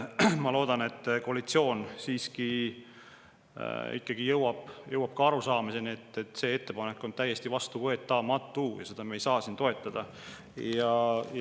Ma loodan, et koalitsioon ikkagi jõuab arusaamisele, et see ettepanek on täiesti vastuvõetamatu ja seda me ei saa siin toetada.